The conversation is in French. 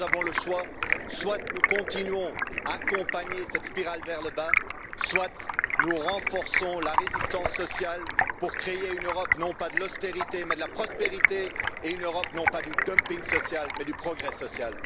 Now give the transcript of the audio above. Nous avons le choix soit nous continuons à accompagner cette spirale vers le bas, soit nous renforçons la résistance sociale pour créer une Europe non pas de l'austérité, mais de la prospérité et une Europe non pas du dumping social, mais du progrès social.